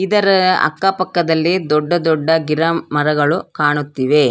ಇದರ ಅಕ್ಕಪಕ್ಕದಲ್ಲಿ ದೊಡ್ಡ ದೊಡ್ಡ ಗಿಡ ಮರಗಳು ಕಾಣುತ್ತಿವೆ.